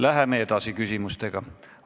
Läheme edasi küsimustega.